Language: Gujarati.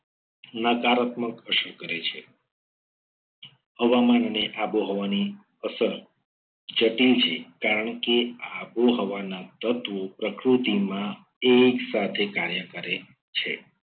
નકારાત્મક અસર કરે છે. હવામાન અને આબોહવાની અસર જટિલ છે. કારણ કે આબોહવાના તત્વો પ્રકૃતિમાં એક સાથે કાર્ય કરે છે.